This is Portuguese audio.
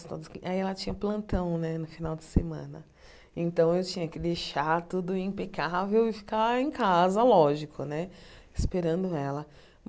Aí ela tinha plantão no final de semana, então eu tinha que deixar tudo impecável e ficar em casa, lógico né, esperando ela.